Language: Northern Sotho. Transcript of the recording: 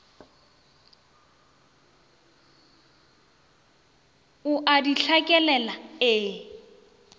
o a di hlakelela e